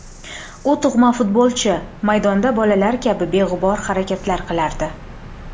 U tug‘ma futbolchi, maydonda bolalar kabi beg‘ubor harakatlar qilardi”.